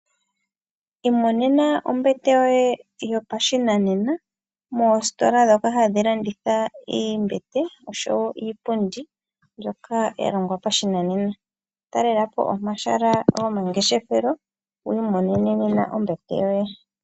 Imonena ombete yoye yopashinanena moositola ndhoka hadhi landitha oombete oshowoo Iipundi mbyoka ya longwa pashinanena . Talelapo omahala gomangeshefelo wiimonene nena ombete yoye.